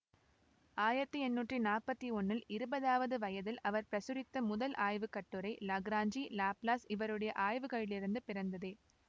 ஆயிரத்தி எண்ணூற்றி நாற்பத்தி ஒன்னில் இருபதாவது வயதில் அவர் பிரசுரித்த முதல் ஆய்வுக்கட்டுரை லாக்ராஞ்சி லாப்லாஸ் இருவருடைய ஆய்வுகளிலிருந்து பிறந்ததே